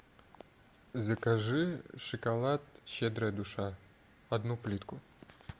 закажи шоколад щедрая душа одну плитку